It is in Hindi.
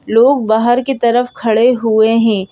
लोग बाहर की तरफ खड़े हुए हैं।